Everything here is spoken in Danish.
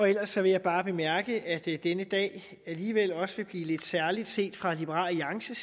ellers vil jeg bare bemærke at denne dag alligevel også vil blive lidt særlig set fra liberal alliances